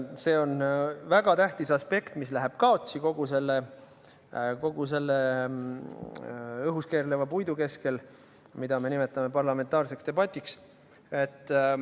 See on väga tähtis aspekt, mis läheb kaotsi kogu selle õhus keerleva puidu keskel, mida me nimetame parlamentaarseks debatiks.